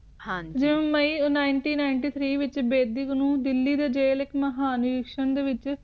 ਹਨ ਜੀ ਜੋ ਮਈ ਨਿਨਤੀਂ ਨਿਨਟੀ ਦਿੱਲੀ ਦੇ ਵਿਚ ਬੇਦੀ ਦੇ ਕੋਲੋਂ ਇਕ ਮਹਾਨ ਜੂਸਾਂ ਦੇ ਵਿਚ